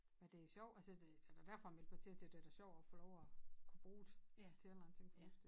Men det er sjov altså det det da derfor jeg meldte mig til det da sjov at få lov at kunne bruge det til en eller anden ting fornuftig